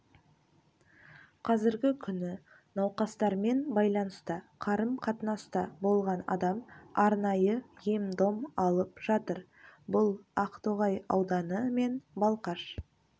қазіргі күні науқастармен байланыста қарым-қатынаста болған адам арнайы ем-дом алып жатыр бұл ақтоғай ауданы мен балқаш